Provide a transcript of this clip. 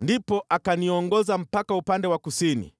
Ndipo akaniongoza mpaka upande wa kusini,